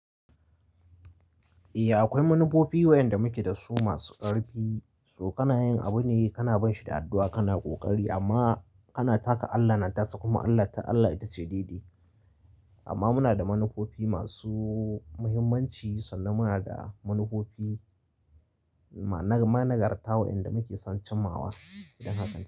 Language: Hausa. Eh akwai manufofi wa'inda muke dasu masu ƙarfi, so kana yin abu ne kana ban shi da addu'a kana ƙoƙari, amma kana taka Allah na tasa kuma Allah ta Allah ita ce daidai. Amma muna da manufofi masu muhimmanci sannan muna da manufofi na nagartawa wanda muke son cimawa. Idan haka.